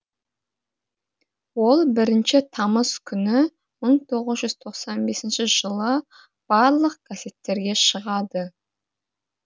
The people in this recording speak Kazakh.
ол бірінші тамыз күні мың тоғыз жүз тоқсан бесінші жылы барлық газеттерге шығады